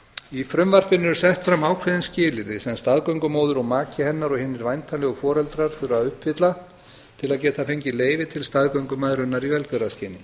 í frumvarpinu eru sett fram ákveðin skilyrði sem staðgöngumóðir og maki hennar og hinir væntanlegu foreldrar þurfa að uppfylla til að geta fengið leyfi til staðgöngumæðrunar í velgjörðarskyni